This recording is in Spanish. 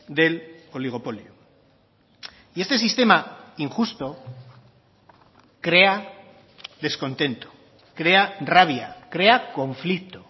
del oligopolio y este sistema injusto crea descontento crea rabia crea conflicto